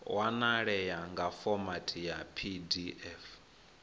wanalea nga fomathi ya pdf